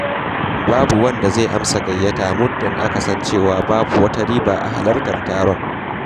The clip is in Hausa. Babu wanda zai amsa gayyata muddin aka san cewa babu wata riba a halartar taron.